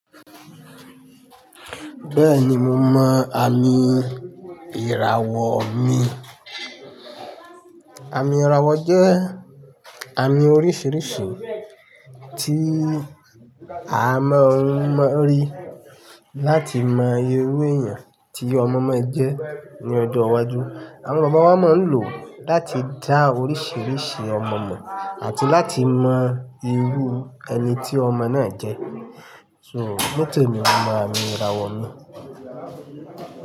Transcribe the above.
Bẹ́ẹ̀ni, mo mọ àmì ìràwọ̀ mi. Àmì ìràwọ̀ jẹ́ àmì oríṣiríṣi tí a máa ń rí láti mọ irú èèyàn tí ọmọ máa jẹ́ ní ọdún iwájú. Àwọn bàbá wa máa ń lò ó láti dá oríṣiríṣi ọmọ mọ̀ àti láti mọ irú ẹni tí ọmọ náà jẹ́. So, nitemi mò mọ àmì ìràwọ̀ mi.